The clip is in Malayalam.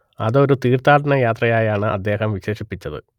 അത് ഒരു തീർത്ഥാടനയാത്രയായാണ് അദ്ദേഹം വിശേഷിപ്പിച്ചത്